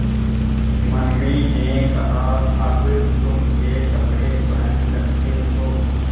mummy ने कहा अब तुम ये कपड़े पहन सकते हो